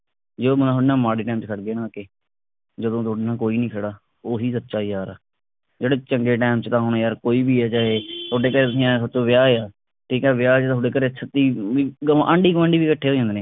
ਜੇ ਉਹ ਬੰਦਾ ਤੁਹਾਡੇ ਨਾਲ ਮਾੜੇ time ਵਿਚ ਖੜ ਗੇ ਨਾ ਆ ਕੇ ਜਦੋਂ ਤੁਹਾਡੇ ਨਾਲ ਕੋਈ ਨੀ ਖੜਾ ਉਹ ਹੀ ਸੱਚਾ ਯਾਰ ਆ ਜਿਹੜੇ ਚੰਗੇ time ਵਿਚ ਤੁਹਾਨੂੰ ਯਾਰ ਕੋਈ ਵੀ ਤੁਹਾਡੇ ਨਹੀਂ ਆਇਆ ਸੋਚੋ ਵਿਆਹ ਆ ਠੀਕ ਆ ਵਿਆਹ ਜਦੋਂ ਆਪਦੇ ਘਰੇ ਛੱਤੀ ਆਂਢੀ ਗੁਆਂਢੀ ਵੀ ਇਕੱਠੇ ਹੋ ਜਾਂਦੇ ਨਾ